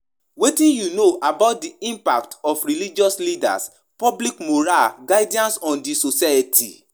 Dis phenomenon dey give too much power to spiritual leaders, and dem dey use am to control and manipulate people.